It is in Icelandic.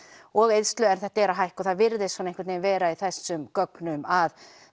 og eyðslu en þetta er að hækka virðist vera í þessum gögnum að